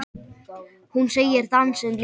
Hún segir dansinn lífið.